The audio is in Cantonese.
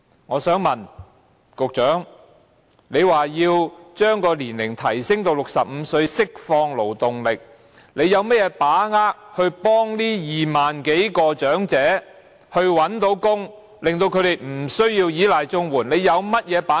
我想問局長，他表示要將退休年齡提升至65歲，以釋放勞動力，他有甚麼把握可協助這25000多名長者找到工作，令他們不需要依賴綜援，他有甚麼把握？